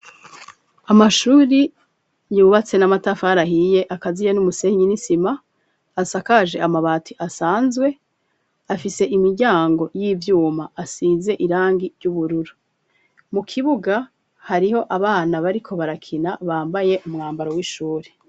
Amashuri yubatse n'amatafari ahiye, akaziye n'umusenyi n'isima, asakaje amabati asanzwe, afise imiryango y'ivyuma, asize irangi ry'ubururu, mu kibuga hariho abana bariko barakina bambaye umwambaro w'ishuri.